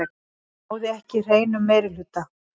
Náði ekki hreinum meirihluta